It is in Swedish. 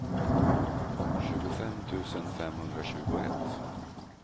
tjugofem tusen femhundratjugoett